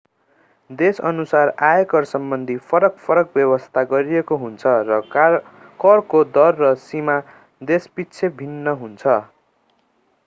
देशअनुसार आयकरसम्बन्धी फरक फरक व्यवस्था गरिएको हुन्छ र करको दर र सीमा देशपिच्छे भिन्न हुन्छ